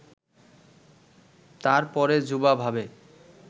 তারপরে যুবা ভাবে